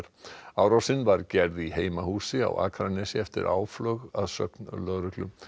árásin var gerð í heimahúsi á Akranesi eftir áflog að sögn lögreglu